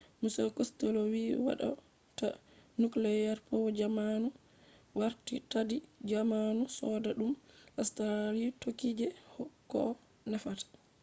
mr costello vi hado ta nuclear power jammanu warti taddi jamanu sodadum australia tokki je koh nafata